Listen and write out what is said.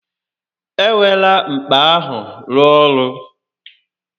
E werela mkpa ahụ rụọ ọrụ